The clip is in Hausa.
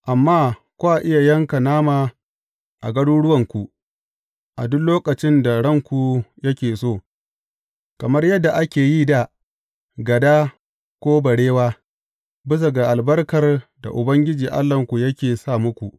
Amma kwa iya yanka nama ku ci a garuruwanku, a duk lokacin da ranku yake so, kamar yadda ake yi da gada ko barewa, bisa ga albarkar da Ubangiji Allahnku yake sa muku.